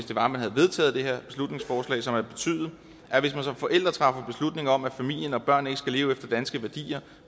havde vedtaget det her beslutningsforslag for hvis man som forælder træffer beslutning om at familien og børnene ikke skal leve efter danske værdier